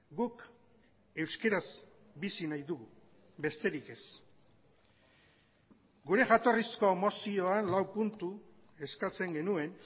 guk euskaraz bizi nahi dugu besterik ez gure jatorrizko mozioan lau puntu eskatzen genuen